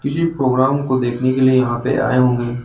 किसी प्रोग्राम को देखने के लिए यहां पे आए होंगे।